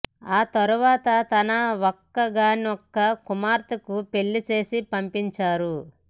ఆ తర్వాత తన ఒక్కగానొక్క కుమార్తెకు పెళ్లి చేసి పంపించారు